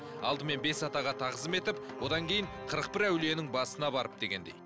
алдымен бес атаға тағзым етіп одан кейін қырық бір әулиенің басына барып дегендей